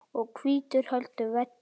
og hvítur heldur velli.